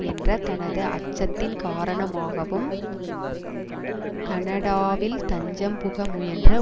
என்ற தனது அச்சத்தின் காரணமாகவும் கனடாவில் தஞ்சம் புக முயன்ற